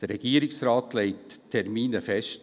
Der Regierungsrat legt die Termine fest.